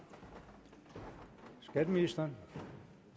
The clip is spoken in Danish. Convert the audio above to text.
skatteministeren